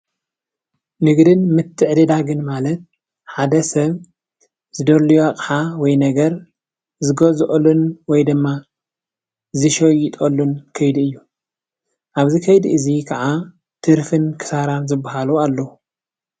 ንግድን ምትዕድዳግን ማለት ሓደ ሰብ ዝደለዮ ኣቕሓ ወይ ነገር ዝገዝአሉን ወይ ድማ ዝሸየጠሉን ከይዲ ኣብዚ ከይዲ ዚ ከኣ ትርፍን ኪሳራን ዝበሃሉ ኣለው ።